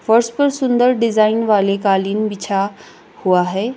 फर्श पर सुंदर डिजाइन वाले कालीन बिछा हुआ है।